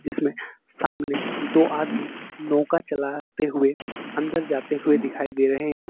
इसमें सामने दो आदमी नौका चलाते हुए अंदर जाते हुए दिखाई दे रहे हैं।